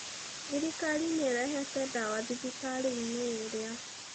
Thirikari nĩ ĩrehete ndawa thibitarĩ-inĩ ĩrĩa.